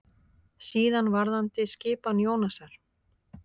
Síðan varðandi skipan Jónasar.